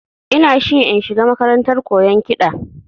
Ina shi in shiga makarantar koyan kiɗa